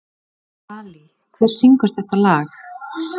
Dalí, hver syngur þetta lag?